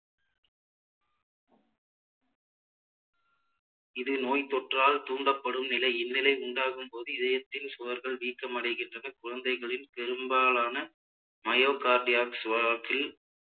இது நோய்த்தொற்றால் தூண்டப்படும் நிலை இந்நிலை உண்டாகும் போது இதயத்தில் சுவர்கள் வீக்கம் அடைகின்றது குழந்தைகளில் பெரும்பாலான myo cardiacs இல்